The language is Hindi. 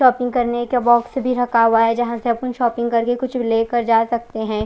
शोपिंग करने का बॉक्स भी रखा हुआ है जहाँ से अपन शोपिंग करके कुछ लेकर जा सकते है।